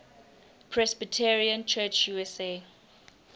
presbyterian church usa